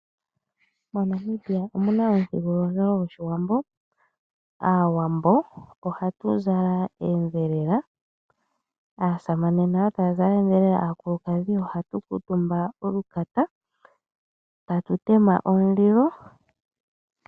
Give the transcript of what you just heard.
MoNamibia omuna omuthigululwakalo goshiwambo ,aawambo ohatu zala oondhelela aasamane nayo taya zala oondhelela. Aakulukadhi ohatu kutumba olukata e ta tu tema omulilo.